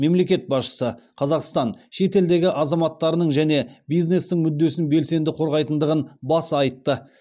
мемлекет басшысы қазақстан шетелдегі азаматтарының және бизнестің мүддесін белсенді қорғайтындығын баса айтты